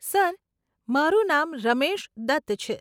Sir, મારું નામ રમેશ દત્ત છે.